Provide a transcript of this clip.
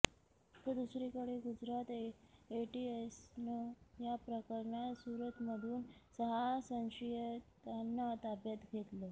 तर दुसरीकडे गुजरात एटीएसनं या प्रकरणात सूरतमधून सहा संशयितांना ताब्यात घेतलं